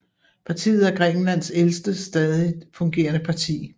Partiet er Grækenlands ældste stadigt fungerende parti